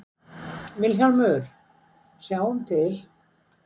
VILHJÁLMUR: Sjáum til?